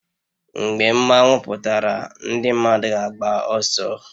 Mgbe mmanwu pụtara ndị mmadụ ga-agba ọsọ